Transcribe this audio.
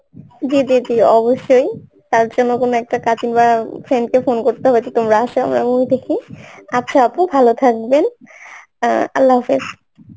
জি জি জি অবশ্যই তার জন্য কোনো একটা cousin বা friend কে phone করতে হবে যে তোমরা আসো আমরা movie দেখি, আচ্ছা আপু ভালো থাকবেন অ্যাঁ Arbi